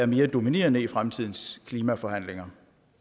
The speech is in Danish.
mere dominerende i fremtidens klimaforhandlinger